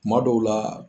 Kuma dɔw la